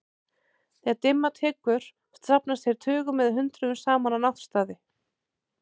Þegar dimma tekur safnast þeir tugum eða hundruðum saman á náttstaði.